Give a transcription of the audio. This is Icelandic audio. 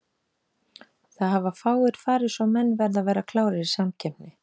Það hafa fáir farið svo menn verða að vera klárir í samkeppni.